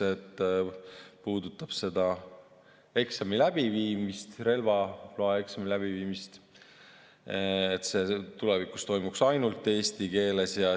See puudutab relvaloaeksami läbiviimist, et see tulevikus toimuks ainult eesti keeles.